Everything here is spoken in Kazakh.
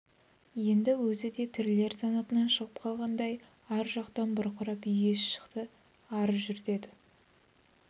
енді өзі де тірілер санатынан шығып қалғандай ар жақтан бұрқылдап үй иесі шықты ары жүр деді